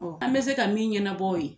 An mɛ se ka min ɲɛnabɔ o ye